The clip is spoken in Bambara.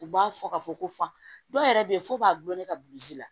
U b'a fɔ ka fɔ ko fa dɔw yɛrɛ bɛ yen f'u b'a gulon ne ka la